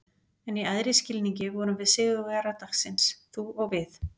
En í æðri skilningi vorum við sigurvegarar dagsins- þú og við.